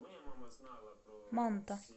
манта